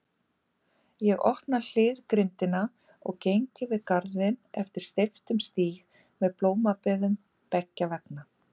Ég opna hliðgrindina og geng yfir garðinn eftir steyptum stíg með blómabeðum beggja vegna.